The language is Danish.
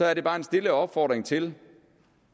er det bare en stille opfordring til